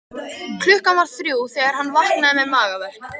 Klukkan var þrjú þegar hann vaknaði með magaverk.